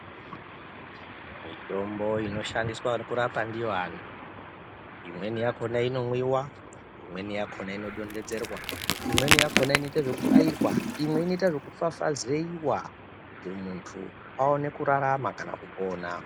Mitombo inoshandiswa kurapa ndiyo vantu imweni yakhona inomwiwa imweni yakhona inodonhedzerwa imweni yakhona inoita zvekubairwa imweni inoita ngekufafazeiwa kuti muntu aone kurarama kana kupona.